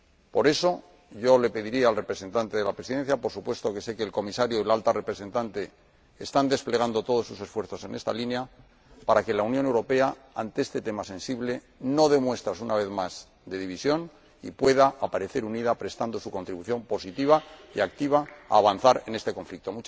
Por eso, yo le pediría al representante de la Presidencia —por supuesto que sé que el Comisario y la Alta Representante están desplegando todos sus esfuerzos en esta línea— que la Unión Europea, ante este tema sensible, no dé muestras una vez más de división y pueda aparecer unida prestando su contribución positiva y activa a avanzar en este conflicto.